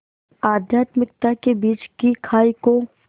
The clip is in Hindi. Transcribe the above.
आध्यात्मिकता के बीच की खाई को